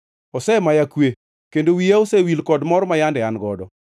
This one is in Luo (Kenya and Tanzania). Osemaya kwe; kendo wiya osewil kod mor ma yande an godo.